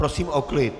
Prosím o klid!